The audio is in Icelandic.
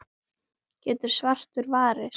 getur svartur varist.